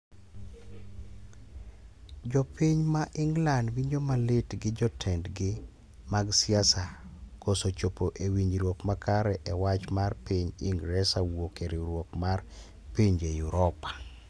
Jo piny ma England winjo malit gi jotendd gi mag siasa koso chopo ewinjruok makare e wach mar piny ingeresa wuok e riwruok mar pinje yuropa